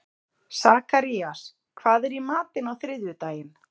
Sakarías, hvað er í matinn á þriðjudaginn?